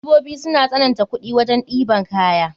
Direbobi suna sananta kuɗi wajen ɗeban kaya.